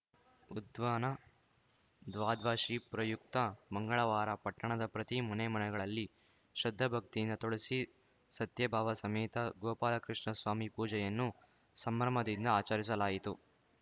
ಉತ್ಧಾನ ದ್ವಾದ್ವಶಿ ಪ್ರಯುಕ್ತ ಮಂಗಳವಾರ ಪಟ್ಟಣದ ಪ್ರತಿ ಮನೆ ಮನೆಗಳಲ್ಲಿ ಶ್ರದ್ಧಾಭಕ್ತಿಯಿಂದ ತುಳಸಿ ಸತ್ಯಭಾವ ಸಮೇತ ಗೋಪಾಲಕೃಷ್ಣಸ್ವಾಮಿ ಪೂಜೆಯನ್ನು ಸಂಭ್ರಮದಿಂದ ಆಚರಿಸಲಾಯಿತು